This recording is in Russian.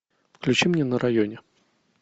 включи мне на районе